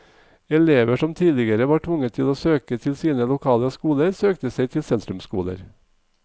Elever som tidligere var tvunget til å søke til sine lokale skoler, søkte seg til sentrumsskoler.